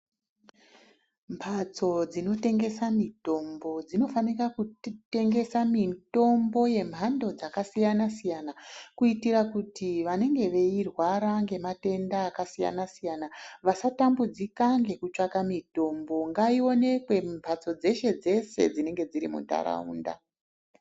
Mbatso dzinotengesa mitombo dzinofana kutengesa mitombo dzemhando yakasiyana siyana kuitira kuti vanenge veirwara ngematenda akasiyana siyana vasatambudzika ngekutsvaka mitombo, ngaiwonekwe mumbatso dzeshe dzeshe dziri muntaraunda.